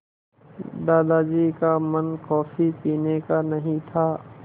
दादाजी का मन कॉफ़ी पीने का नहीं था